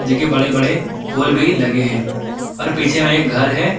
देखिए बड़े बड़े पोल भी लगे हैं और पीछे में एक घर है।